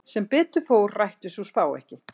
Sem betur fór rættist sú spá ekki.